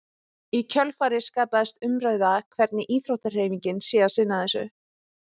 Í kjölfarið skapaðist umræða hvernig íþróttahreyfingin sé að sinna þessu.